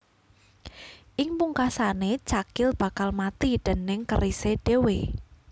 Ing pungkasané cakil bakal mati déning kerisé dhéwé